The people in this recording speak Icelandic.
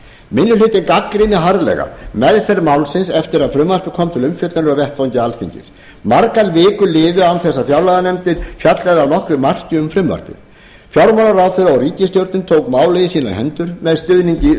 minni hlutinn gagnrýnir harðlega meðferð málsins eftir að frumvarpið kom til umfjöllunar á vettvangi alþingis margar vikur liðu án þess að fjárlaganefndin fjallaði að nokkru marki um frumvarpið fjármálaráðherra og ríkisstjórn tók málið í sínar hendur með stuðningi